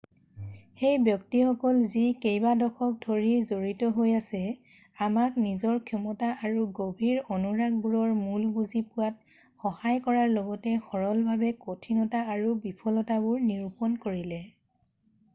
সেই ব্যক্তিসকল যি কেইবা দশক ধৰি জড়িত হৈ আছে আমাক নিজৰ ক্ষমতা আৰু গভীৰ অনুৰাগবোৰৰ মূল বুজি পোৱাত সহায় কৰাৰ লগতে সৰলভাৱে কঠিনতা আৰু বিফলতাবোৰ নিৰূপন কৰিলে